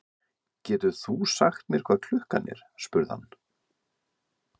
Getur þú sagt mér hvað klukkan er? spurði hann.